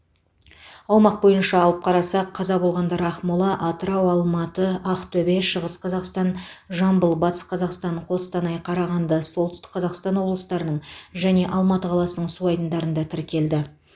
аумақ бойынша алып қарасақ қаза болғандар ақмола атырау алматы ақтөбе шығыс қазақстан жамбыл батыс қазақстан қостанай қарағанды солтүстік қазақстан облыстарының және алматы қаласының су айдындарында тіркелді